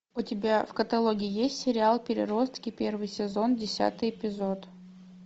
у тебя в каталоге есть сериал переростки первый сезон десятый эпизод